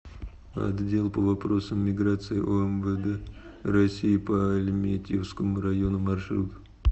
отдел по вопросам миграции омвд россии по альметьевскому району маршрут